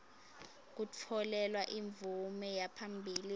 kutfolelwa imvume yaphambilini